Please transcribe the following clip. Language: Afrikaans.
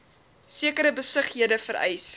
sekere besighede vereis